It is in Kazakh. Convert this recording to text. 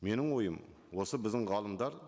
менің ойым осы біздің ғалымдар